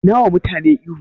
Dai nawa mutane ihu